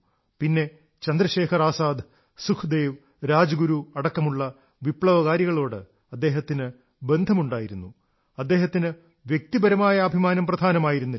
പിന്നെ ചന്ദ്രശേഖർ ആസാദ് സുഖ്ദേവ് രാജ്ഗുരു അടക്കമുള്ള വിപ്ലവകാരികളോടും അദ്ദേഹത്തിന് ബന്ധം ഉണ്ടായിരുന്നു അദ്ദേഹത്തിന് വ്യക്തിപരമായ അഭിമാനം പ്രധാനമായിരുന്നില്ല